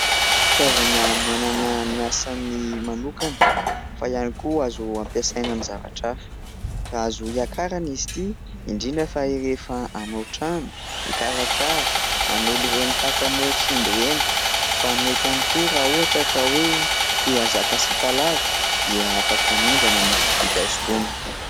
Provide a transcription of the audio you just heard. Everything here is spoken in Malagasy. Fitaovana manana ny asany manokana fa ihany koa azo ampiasaina amin'ny zavatra hafa. Azo iakarana izy itỳ indrindra fa rehefa hanao tranao, hikarakara, hanolo ireny takamoa simba ireny fa mety ihany koa raha ohatra ka hoe tia hahazaka sipa lava dia afaka mindrana na mividy azy itony.